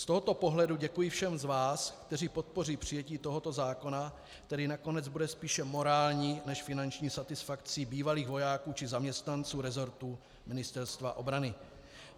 Z tohoto pohledu děkuji všem z vás, kteří podpoří přijetí tohoto zákona, který nakonec bude spíše morální než finanční satisfakcí bývalých vojáků či zaměstnanců rezortu Ministerstva obrany.